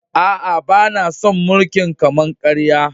Aa, bana son mulki'n kama-karya.